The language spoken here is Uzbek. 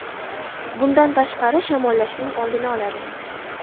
Bundan tashqari, shamollashning oldini oladi.